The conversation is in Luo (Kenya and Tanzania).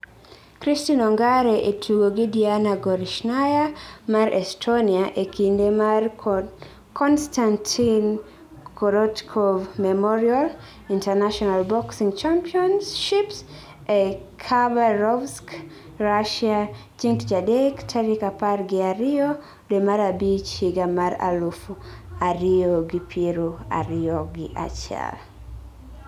Christine Ongare e tugo gi Diana Gorishnaya mar Estonia e kinde mar Konstantin Korotkov Memorial International Boxing Championships e Khabarovsk, Russia, chieng' tich adek, tarik apar gi ariyo dwe mar abich higa mar aluf ariyyo gi piero ariyo gi achiel.